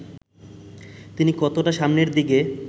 তিনি কতটা সামনের দিকে